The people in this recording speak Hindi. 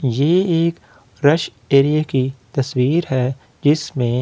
ये एक फ्रेश एरिया की तस्वीर है जिसमें--